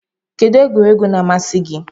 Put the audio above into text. Kedu egwuregwu na-amasị gị?